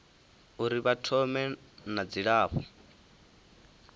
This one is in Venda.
uri vha thome na dzilafho